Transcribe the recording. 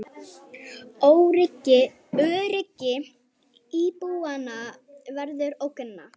Öryggi íbúanna verður ógnað